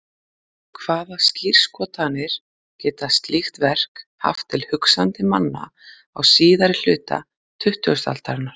Hvaða skírskotanir geta slík verk haft til hugsandi manna á síðari hluta tuttugustu aldar?